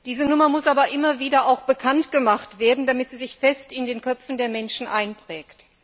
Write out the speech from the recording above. Diese Nummer muss aber immer wieder bekannt gemacht werden, damit sie sich fest in den Köpfen der Menschen einprägt.